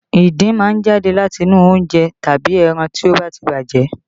Ìdin máa ń jáde láti inú oúnjẹ tàbí ẹran tí ó ba ti bàjẹ́